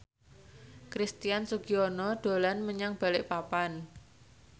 Christian Sugiono dolan menyang Balikpapan